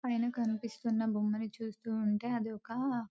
పైన కనిపిస్తున్న బొమ్మను చూస్తుంటే అదొక --